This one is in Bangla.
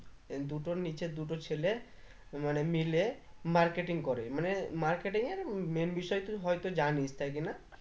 দুটোর নিচে দুটো ছেলে মানে মিলে marketing করে মানে marketing এর main বিষয়ে হয়তো জানিস তাই কি না